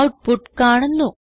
output കാണുന്നു